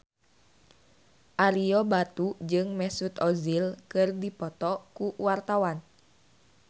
Ario Batu jeung Mesut Ozil keur dipoto ku wartawan